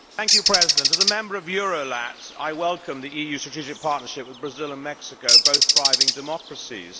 Mr President, as a Member of EuroLat I welcome the EU Strategic Partnership with Brazil and Mexico, both thriving democracies.